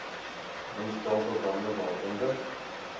remstelsel bande waaronder